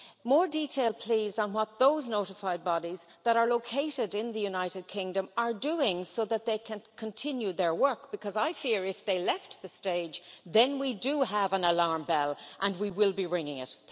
More detail please on what those notified bodies, that are located in the United Kingdom, are doing so that they can continue their work because I fear, if they left the stage, then we do have an alarm bell and we will be ringing it.